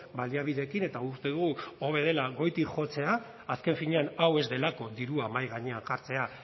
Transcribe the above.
baliabideekin eta uste dugu hobe dela goitik jotzea azken finean hau ez delako dirua mahai gainean jartzea